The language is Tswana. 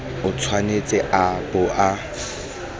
o tshwanetse a bo a